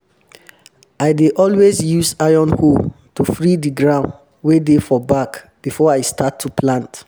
i dey always use iron hoe to free di ground wey dey for back before i start to plant